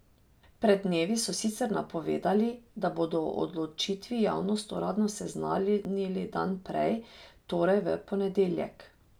Pred dnevi so sicer napovedali, da bodo o odločitvi javnost uradno seznanili dan prej, torej v ponedeljek.